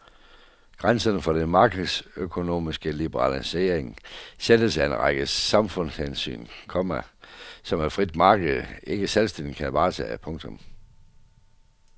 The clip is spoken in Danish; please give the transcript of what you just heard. Grænserne for den markedsøkonomiske liberalisering sættes af en række samfundshensyn, komma som et frit marked ikke selvstændigt kan varetage. punktum